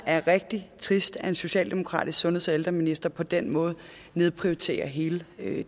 er rigtig trist at en socialdemokratisk sundheds og ældreminister på den måde nedprioriterer hele